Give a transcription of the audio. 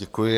Děkuji.